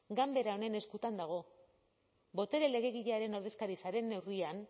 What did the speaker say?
ganbera honen eskutan dago botere legegilearen ordezkaritzaren neurrian